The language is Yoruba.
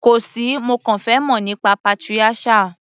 Kò sí, mo kàn fẹ́ mọ̀ síi nípa patriarchal.